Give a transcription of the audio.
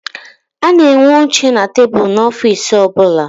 A na-enwe oche na tebulu n'ofiisi ọbụla.